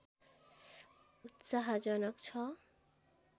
उत्साहजनक छ